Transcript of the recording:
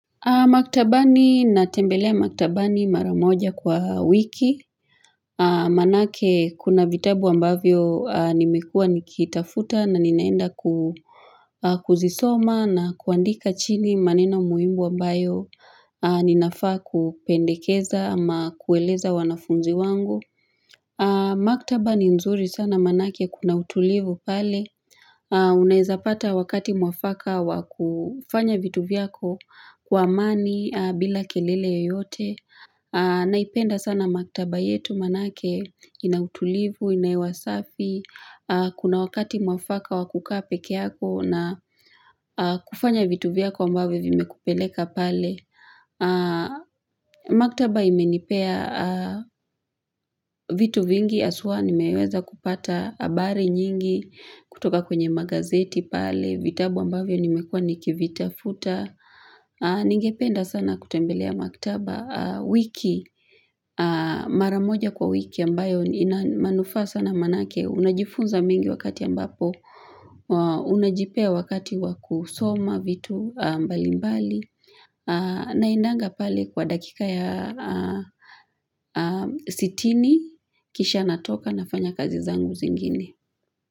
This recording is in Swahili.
Maktabani natembelea maktabani maramoja kwa wiki. Manake kuna vitabu ambavyo nimekua nikitafuta na ninaenda kuzisoma na kuandika chini maneno muhimu ambayo ninafaa kupendekeza ama kueleza wanafunzi wangu. Maktaba ni nzuri sana manake kuna utulivu pale Unaizapata wakati mwafaka wakufanya vitu vyako kwa amani bila kelele yeyote Naipenda sana maktaba yetu manake inautulivu, inahewa safi Kuna wakati mwafaka wakukaa pekee yako na kufanya vitu vyako ambavyo vimekupeleka pale Maktaba imenipea vitu vingi haswa nimeweza kupata habari nyingi kutoka kwenye magazeti pale vitabu ambavyo nimekua nikivitafuta Ningependa sana kutembelea maktaba wiki, maramoja kwa wiki ambayo ina manufaa sana manake Unajifunza mengi wakati ambapo Unajipea wakati wakusoma vitu mbalimbali Naendanga pale kwa dakika ya sitini Kisha natoka nafanya kazi zangu zingine.